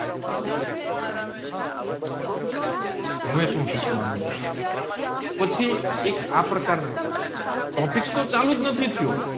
હવે સુ શીખવાનું છે પછી એક આ પ્રકાર ના ટોપિક્સ હોટ ચાલુ જ નથિ થિયો